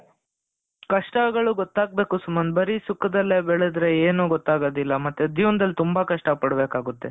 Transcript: ಕಷ್ಟಗಳು ಗೊತ್ತಾಗಬೇಕು ಸುಮಂತ್ ಬರಿ ಸುಖದಲ್ಲಿ ಬೆಳೆದರೆ ಏನು ಗೊತ್ತಾಗೋದಿಲ್ಲ ಮತ್ತೆ ಜೀವನ್ದಲ್ಲಿ ತುಂಬಾ ಕಷ್ಟ ಪಡಬೇಕಾಗುತ್ತದೆ